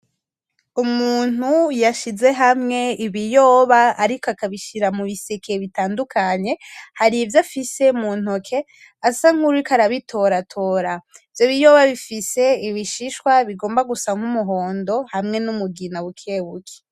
Umuntu yashize hamwe ibiyoba ariko akabishira mubiseke bitandukanye harivyo afise muntoki asankuwuriko arabitoratora. Ivyo biyoba bifise ibishishwa bigomba gusa n'umuhondo hamwe numugina bukebuke.